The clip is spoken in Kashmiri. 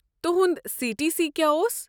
تہُنٛد سی ٹی سی کیٛاہ اوس؟